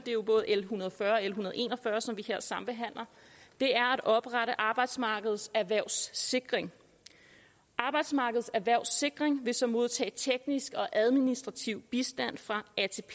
jo både l en hundrede og fyrre en hundrede og en og fyrre som vi her sambehandler er at oprette arbejdsmarkedets erhvervssikring arbejdsmarkedets erhvervssikring vil så modtage teknisk og administrativ bistand fra